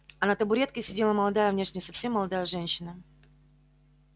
а на табуретке сидела молодая внешне совсем молодая женщина